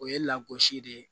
O ye lagosi de ye